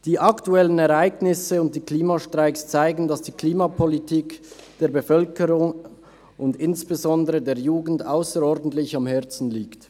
Die aktuellen Ereignisse und die Klimastreiks zeigen, dass die Klimapolitik der Bevölkerung und insbesondere der Jugend ausserordentlich am Herzen liegt.